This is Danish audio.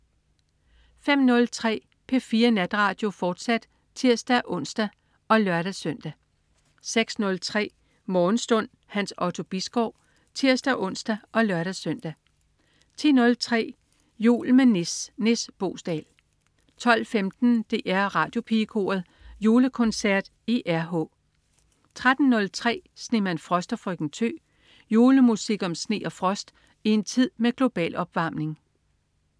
05.03 P4 Natradio, fortsat (tirs-ons og lør-søn) 06.03 Morgenstund. Hans Otto Bisgaard (tirs-ons og lør-søn) 10.03 Jul med Nis. Nis Boesdal 12.15 DR Radiopigekoret Julekoncert i RH 13.03 Snemand Frost og Frøken Tø. Julemusik om sne og frost i en tid med global opvarmning